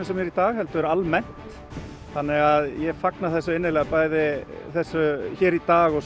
sem er í dag heldur almennt þannig að ég fagna þessu bæði hér í dag og